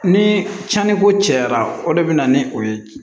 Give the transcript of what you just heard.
Ni cɛnniko cayara o de bɛ na ni o ye